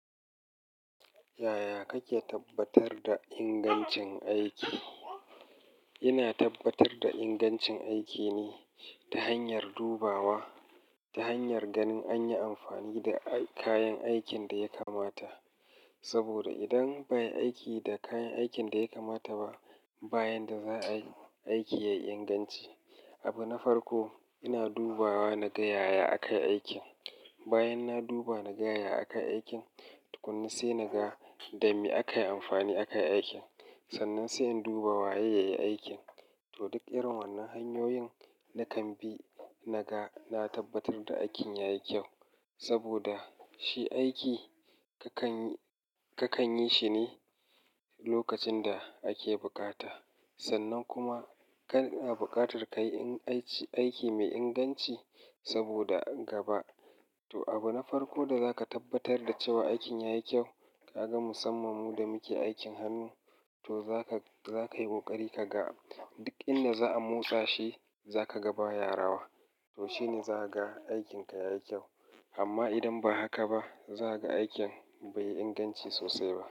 Yaya kake tabbatar da ingancin aiki? Ina tabbatar da ingancin aiki ne ta hanyar dubawa. Ta hanyar ganin an yi amfani da kayan aikin da ya kamata. Sabida idan ba ayi aiki da kayan aikin da yakamata ba, ba yanda za a yi, aiki yayi inganci. Abu na farko, ina dubawa naga yaya akayi aikin. Bayan na duba naga yaya aka yi aikin, tukunna sai naga dame aka yi amfani aka yi aikin. Sannan sai in duba waye yayi aikin. To duk irin wannan hanyoyin na kan bi, naga na tabbatar da aikin yayi kyau. Sabida shi aiki kakan yi shi ne lokacin da ake buƙata. Sannan kuma kana buƙatar kayi aiki mai inganci sabida gaba. To abu na farko da zaka tabbatar da cewa aikin yayi kyau, kaga musamman mu da muke aikin hannu, to zaka yi ƙoƙari kaga duk inda za a motsa shi, zaka ga ba ya rawa. To shine zaka ga aikinka yayi kyau. Amma idan ba haka ba, zaka ga aikin bai yi inganci sosai ba.